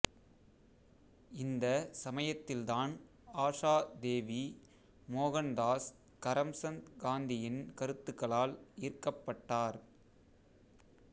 இந்த சமயத்தில்தான் ஆஷா தேவி மோகன்தாஸ் கரம்சந்த் காந்தியின் கருத்துகளால் ஈர்க்கப்பட்டார்